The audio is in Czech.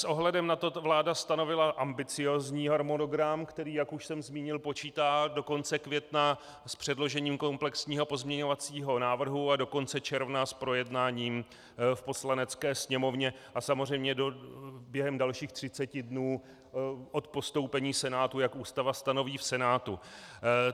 S ohledem na to vláda stanovila ambiciózní harmonogram, který, jak už jsem zmínil, počítá do konce května s předložením komplexního pozměňovacího návrhu a do konce června s projednáním v Poslanecké sněmovně a samozřejmě během dalších 30 dnů od postoupení Senátu, jak Ústava stanoví, v Senátu.